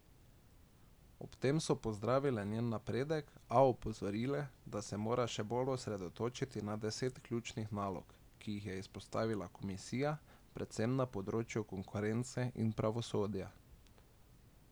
Ob tem so pozdravile njen napredek, a opozorile, da se mora še bolj osredotočiti na deset ključnih nalog, ki jih je izpostavila komisija, predvsem na področju konkurence in pravosodja.